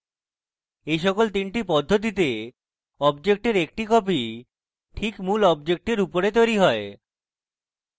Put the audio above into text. in সকল 3টি পদ্ধতিতে অবজেক্টের একটি copy ঠিক মূল অবজেক্টের উপরে তৈরী হয়